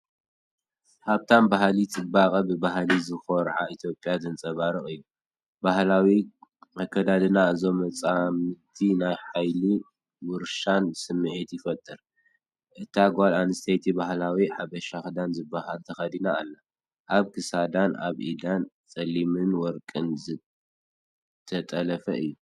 ሃብታም ባህሊ፡ ጽባቐ፡ ብባህሊ ዝኾርዓ ኢትዮጵያ ዘንጸባርቕ እዩ። ባህላዊ ኣከዳድና እዞም መጻምድቲ ናይ ሓይልን ውርሻን ስምዒት ይፈጥር። እታ ጓል ኣንስተይቲ ባህላዊ "ሓበሻ ክዳን" ዝበሃል ተኸዲና ኣላ፡ ኣብ ክሳዳን ኣብ ኢዳን ጸሊምን ወርቅን ዝተጠልፈ እዩ።